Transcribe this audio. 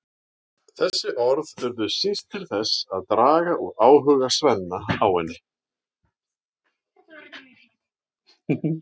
Þessi orð urðu síst til þess að draga úr áhuga Svenna á henni.